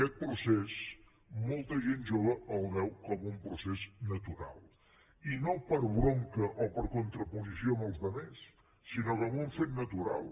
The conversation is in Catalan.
aquest procés molta gent jove el veu com un procés natural i no per bronca o per contraposició als altres sinó com un fet natural